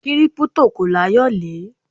Kírípútò kò láyòlé.